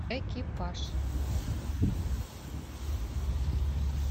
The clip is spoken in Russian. экипаж